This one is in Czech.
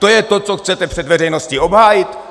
To je to, co chcete před veřejností obhájit?